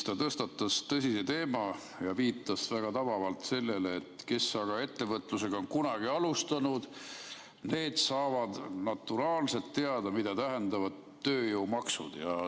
Ta tõstatas tõsise teema ja viitas väga tabavalt sellele, et kes ettevõtlusega kunagi on alustanud, need saavad naturaalselt teada, mida tähendavad tööjõumaksud.